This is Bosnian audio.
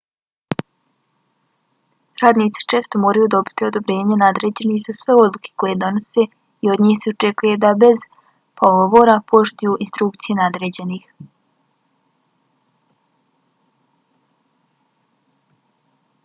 radnici često moraju dobiti odobrenje nadređenih za sve odluke koje donose i od njih se očekuje da bez pogovora poštuju instrukcije nadređenih